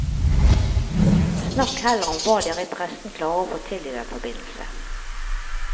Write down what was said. Snakk heller om hva dere i pressen klarer å få til i den forbindelse.